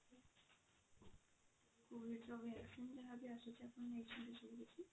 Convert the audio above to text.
covid ର vaccine ଯାହା ବି ଆସୁଛି ଆପଣ ନେଇଛନ୍ତି ସେ vaccine?